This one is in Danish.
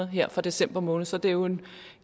her fra december måned så det er jo en